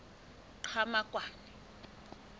qhamakwane